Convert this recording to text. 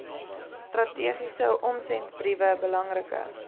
strategiese omsendbriewe belangrike